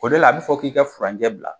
O de la a bi fɔ k'i ka furancɛ bila